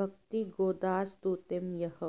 वक्ति गोदास्तुतिं यः